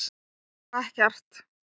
Hér var ekkert.